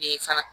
Ee fana